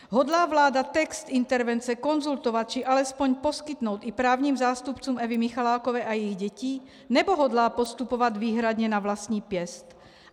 Hodlá vláda text intervence konzultovat, či alespoň poskytnout i právním zástupcům Evy Michalákové a jejích dětí, nebo hodlá postupovat výhradně na vlastní pěst?